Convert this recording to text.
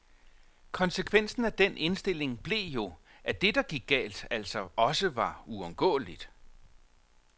Konsekvensen af den indstilling blev jo, at det der gik galt, altså også var uundgåeligt.